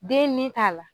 Den nin t'a la